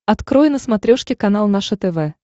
открой на смотрешке канал наше тв